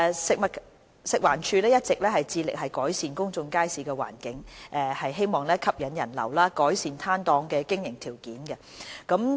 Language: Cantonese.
食物環境衞生署一直致力改善公眾街市的環境，以吸引人流及改善攤檔的經營條件。